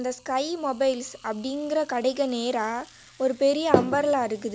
Sky Mobiles அப்படிங்கற கடைக்கு நேரா ஒரு பெரிய அம்பர்லா இருக்குது.